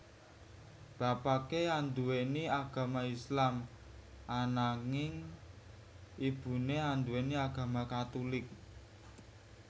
Bapaké anduwèni agama Islam ananging ibuné anduwèni agama Katulik